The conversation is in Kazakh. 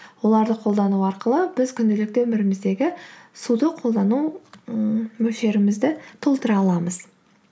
оларды қолдану арқылы біз күнделікті өміріміздегі суды қолдану ммм мөлшерімізді толтыра аламыз